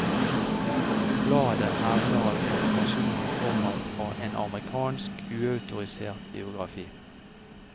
Bladet hevder at informasjonen kommer fra en amerikansk uautorisert biografi.